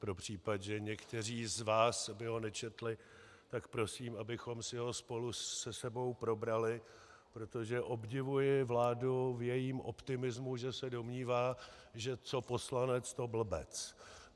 Pro případ, že někteří z vás by ho nečetli, tak prosím, abychom si ho spolu se sebou probrali, protože obdivuji vládu v jejím optimismu, že se domnívá, že co poslanec, to blbec.